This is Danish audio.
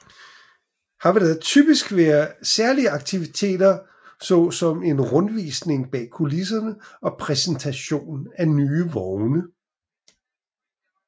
Her vil der typisk være særlige aktiviteter så som en rundvisning bag kulisserne og præsentation af nye vogne